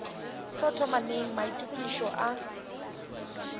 tlo thoma neng maitokišo a